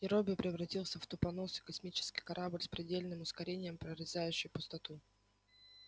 и робби превратился в тупоносый космический корабль с предельным ускорением прорезающий пустоту